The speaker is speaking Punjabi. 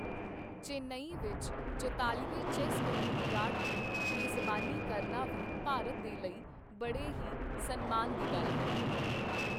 ਚੇਨਈ ਵਿੱਚ ਚੁਤਾਲ਼ੀਵੇਂ ਚੈੱਸ ਓਲੰਪੀਆਡ ਦੀ ਮੇਜ਼ਬਾਨੀ ਕਰਨਾ ਵੀ ਭਾਰਤ ਦੇ ਲਈ ਬੜੇ ਹੀ ਸਨਮਾਨ ਦੀ ਗੱਲ ਹੈ।